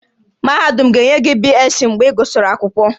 Mahadum ga-enye gị BSc mgbe ị gụsịrị akwụkwọ